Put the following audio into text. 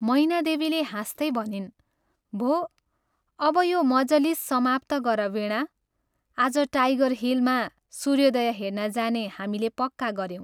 मैनादेवीले हाँस्तै भनिन् " भो, अब यो मजलिस समाप्त गर वीणा, आज ' टाइगर हिल ' मा सूर्योदय हेर्न जाने हामीले पक्का गऱ्यौं।